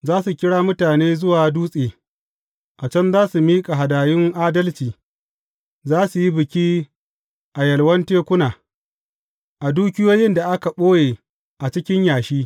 Za su kira mutane zuwa dutse, a can za su miƙa hadayun adalci; za su yi biki a yalwan tekuna, a dukiyoyin da aka ɓoye a cikin yashi.